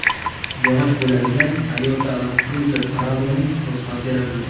Yog‘och bo‘lagidan Toyota Land Cruiser Prado‘ning nusxasi yaratildi .